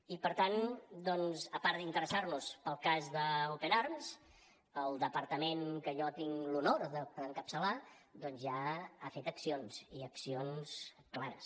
i per tant doncs a part d’interessar nos pel cas d’open arms el departament que jo tinc l’honor d’encapçalar ja ha fet accions i accions clares